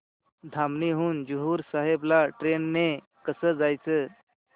धामणी हून हुजूर साहेब ला ट्रेन ने कसं जायचं